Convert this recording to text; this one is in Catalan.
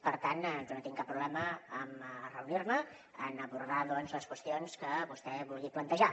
per tant jo no tinc cap problema amb reunir me amb abordar les qüestions doncs que vostè vulgui plantejar